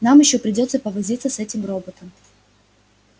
нам ещё придётся повозиться с этим роботом